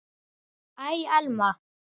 Æ, Elma.